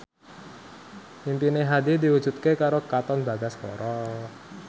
impine Hadi diwujudke karo Katon Bagaskara